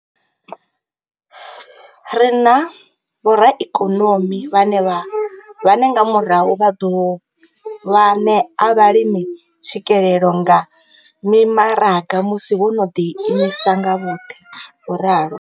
Ri na vhoraikonomi vhane nga murahu vha ḓ ovha ṋea vhalimi tswikelelo kha mimaraga musi vho no ḓiimisa nga vhoṱhe, vho ralo.